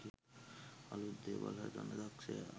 අලුත් දේවල් හදන්න දක්ෂයා